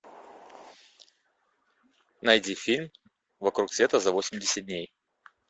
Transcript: найди фильм вокруг света за восемьдесят дней